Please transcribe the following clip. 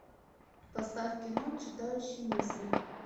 поставь кино читающий мысли